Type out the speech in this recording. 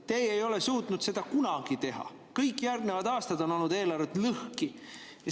Teie ei ole suutnud seda kunagi teha, kõik järgnevad aastad on eelarve olnud lõhki.